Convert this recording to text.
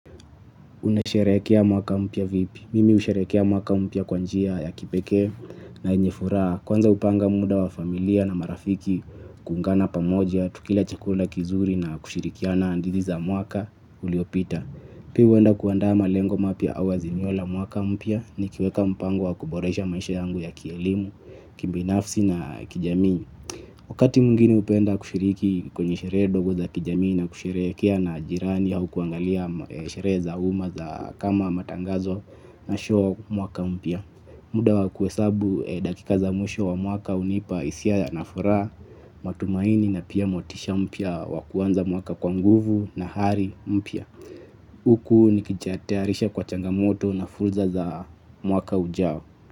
Unasherekea mwaka mpya vipi? Mimi husherekea mwaka mpya kwa njia ya kipeke na yenye furaha. Kwanza hupanga muda wa familia na marafiki kuungana pamoja, tukila chakula kizuri na kushirikiana hadhiti za mwaka uliopita. Pia hueanda kuanda malengo mapya au azimio la mwaka mpya nikiweka mpango wa kuboresha maisha yangu ya kielimu, kibinafsi na kijamii. Wakati mwingine upenda kushiriki kwenye sheree dogo za kijamii na kushereekea na jirani au kuangalia sheree za uma za kama matangazo na shuo mwaka mpia. Muda wa kuesabu dakika za mwisho wa mwaka unipa isia na furaa matumaini na pia motisha mpia waku anza mwaka kwa nguvu na hari mpia. Huku nikijatearisha kwa changamoto na furza za mwaka ujao.